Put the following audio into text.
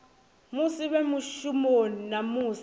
musi vhe mushumoni na musi